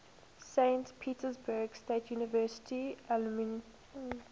saint petersburg state university alumni